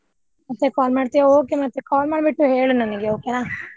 ಮತ್ತೆ call ಮಾಡ್ತಿಯಾ okay ಮತ್ತೆ call ಮಾಡಿ ಬಿಟ್ಟು ಹೇಳು ನನಗೆ okay ನಾ